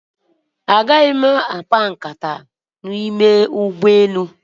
Agaghị m akpa nkata n'ime ụgbọelu.